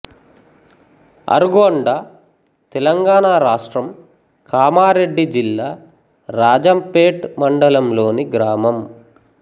అర్గొండ తెలంగాణ రాష్ట్రం కామారెడ్డి జిల్లా రాజంపేట్ మండలంలోని గ్రామం